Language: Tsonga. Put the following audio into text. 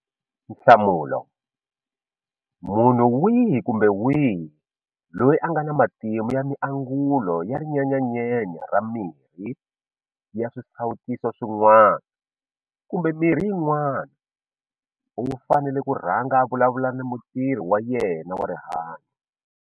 Nhlamulo- Munhu wihi kumbe wihi loyi a nga na matimu ya miangulo ya ri nyenyanyenya ra miri ra swisawutisi swin'wana kumbe mirhi yin'wana u fanele ku rhanga a vulavula na mutirhi wa yena wa rihanyo.